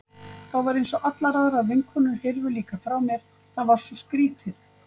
Þá var eins og allar aðrar vinkonur hyrfu líka frá mér, það var svo skrýtið.